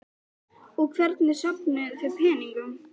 Birta: Og hvernig safnið þið peningum?